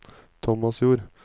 Tomasjord